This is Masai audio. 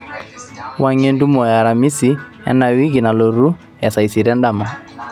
wuangie entumo e aramisi enda wiki nalotu e saa isiet endama